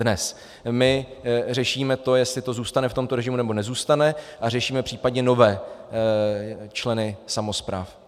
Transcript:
Dnes tu řešíme to, jestli to zůstane v tomto režimu, nebo nezůstane, a řešíme případně nové členy samospráv.